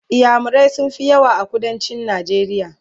inyamurai sun Fi yawa a kuduncin najeriya